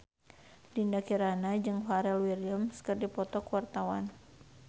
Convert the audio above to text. Dinda Kirana jeung Pharrell Williams keur dipoto ku wartawan